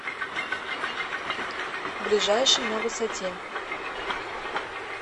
ближайший на высоте